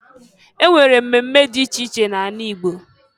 E nwere mmemme dị iche iche n'ala Igbo.